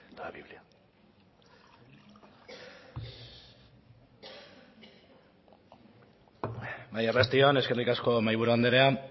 arratsalde on eskerrik asko mahaiburu anderea